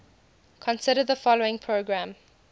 consider the following program